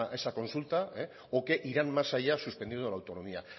que esa consulta o que irán más allá suspendiendo la autonomía